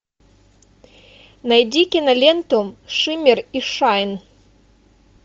найди киноленту шиммер и шайн